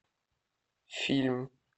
фильм